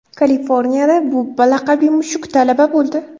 Kaliforniyada Bubba laqabli mushuk talaba bo‘ldi.